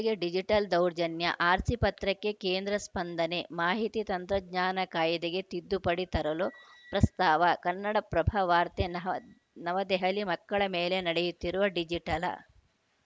ಮಕ್ಕಳಿಗೆ ಡಿಜಿಟಲ್‌ ದೌರ್ಜನ್ಯ ಆರ್‌ಸಿ ಪತ್ರಕ್ಕೆ ಕೇಂದ್ರ ಸ್ಪಂದನೆ ಮಾಹಿತಿ ತಂತ್ರಜ್ಞಾನ ಕಾಯ್ದೆಗೆ ತಿದ್ದುಪಡಿ ತರಲು ಪ್ರಸ್ತಾವ ಕನ್ನಡ ಪ್ರಭ ವಾರ್ತೆ ನವ ನವದೆಹಲಿ ಮಕ್ಕಳ ಮೇಲೆ ನಡೆಯುತ್ತಿರುವ ಡಿಜಿಟಲ